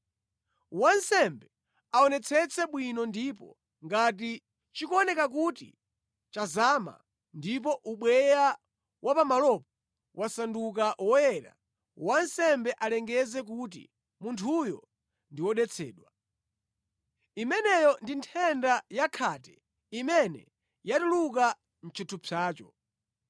Wansembe aonetsetse bwino ndipo ngati chikuoneka kuti chazama, ndipo ubweya wa pamalopo wasanduka woyera, wansembe alengeze kuti munthuyo ndi wodetsedwa. Imeneyo ndi nthenda ya khate imene yatuluka mʼchithupsacho.